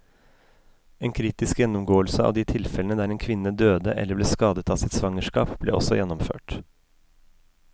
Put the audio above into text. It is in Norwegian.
En kritisk gjennomgåelse av de tilfellene der en kvinne døde eller ble skadet av sitt svangerskap, ble også gjennomført.